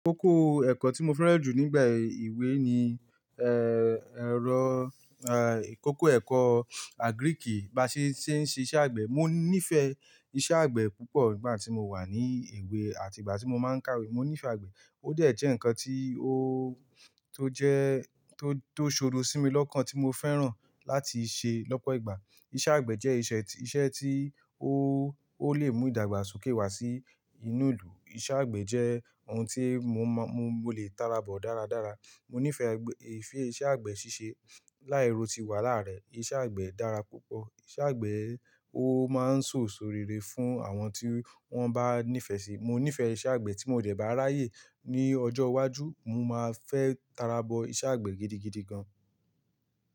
Kòkò ẹ̀kọ́ tí mo fẹ́ràn jù nígbà ìwé ni ẹrọ, kòkò ẹ̀kọ́ agric, bá ṣe ṣé ń ṣiṣẹ́ àgbẹ̀. Mo nífẹ̀ẹ́ iṣẹ́ àgbẹ̀ púpọ̀ nígbà tí mo wà ní ìwé àti ìgbà tí mo máa ń kàwé. Mo nífẹ̀ẹ́ àgbẹ̀. Ó dẹ̀ jẹ́ nǹkan tí o tó jẹ tó, tó ṣodo sí mi lọ́kàn tí mo fẹ́ràn láti ṣe lọ́pọ̀ ìgbà. Iṣẹ́ àgbẹ̀ jẹ́ ìṣe, ìṣe tí ó, ó lè mú ìdàgbàsókè wá sí inú ìlú. Iṣẹ́ àgbẹ̀ jẹ́ ohun tí mo mọ, mo lè tarabọ̀ dáradára. Mo nífẹ̀ẹ́ iṣẹ́ àgbẹ̀ ṣíṣe. Láì ro ti wàhálà rẹ̀, iṣẹ́ àgbẹ̀ dára púpọ̀. Iṣẹ́ àgbẹ̀ ó máa ń sọ̀ èsó rere fún àwọn tí wọ́n bá nífẹ̀ẹ́ sí i. Mo nífẹ̀ẹ́ siṣẹ́ àgbẹ̀ tí mo dẹ̀ bá ráyè ní ọjọ́ iwájú, mo máa fẹ́ tarabọ̀ iṣẹ́ àgbẹ̀ gidigidi gan.